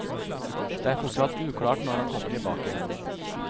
Det er fortsatt uklart når han kommer tilbake.